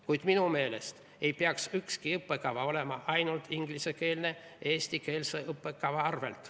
Kuid minu meelest ei tohiks ükski õppekava olla ainult ingliskeelne eestikeelse õppekava arvel.